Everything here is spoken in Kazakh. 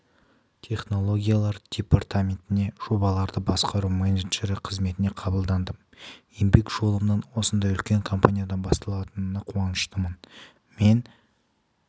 технологиялар департаментіне жобаларды басқару менеджері қызметіне қабылдандым еңбек жолымның осындай үлкен компаниядан басталатынына қуаныштымын мен